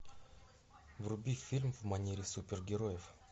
вруби фильм в манере супергероев